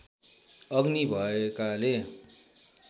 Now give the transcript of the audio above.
अग्नि भएकाले